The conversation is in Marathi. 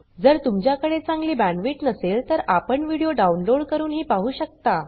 जर तुमच्याकडे चांगली बॅण्डविड्थ नसेल तर आपण व्हिडिओ डाउनलोड करूनही पाहू शकता